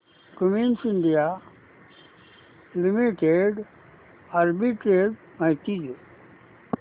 Cummins India limited arbitrage माहिती दे